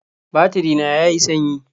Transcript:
Batiri na ya yi sanyi